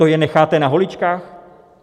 To je necháte na holičkách?